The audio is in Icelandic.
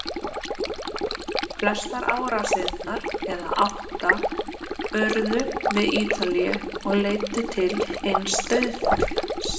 Flestar árásirnar, eða átta, urðu við Ítalíu og leiddu til eins dauðsfalls.